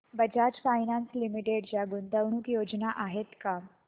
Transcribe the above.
Bajaj finance limited च्या गुंतवणूक योजना आहेत का